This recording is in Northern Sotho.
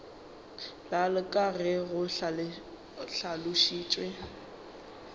bjalo ka ge go hlalošitšwe